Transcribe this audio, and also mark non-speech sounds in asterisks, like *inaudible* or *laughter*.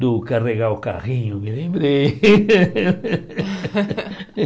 Do carregar o carrinho, me lembrei. *laughs*